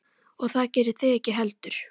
Og það gerið þið ekki heldur.